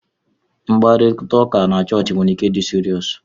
Mkparịta ụka na chọọchị nwere ike ịdi seriousu.